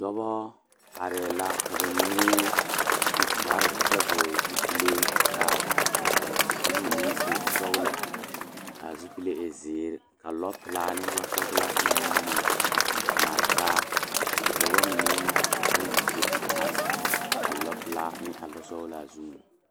Dɔbɔ arɛɛ la ka ba mine su kpare kyɛ vɔgle zupile ka aa kure meŋ e sɔglɔ kaa zupile e zēēre ka lɔpilaa ne lɔsɔglaa nige a mare taa ka dɔba mine bayi do te are a lɔpilaa ne a lɔsɔglaa zuŋ.